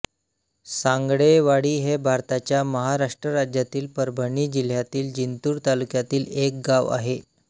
सांगळेवाडी हे भारताच्या महाराष्ट्र राज्यातील परभणी जिल्ह्यातील जिंतूर तालुक्यातील एक गाव आहे